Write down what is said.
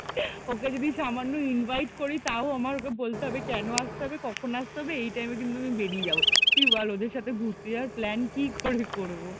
ওকে যদি সামান্য ইনভাইট করি তাও আমার ওকে বলতে হবে যে কেন আসতে হবে কখন আসতে হবে এই টাইমে কিন্তু আমি বেরিয়ে যাবো, তুই বল ওদের সাথে ঘুরতে যাওয়া প্ল্যান কি করে করব?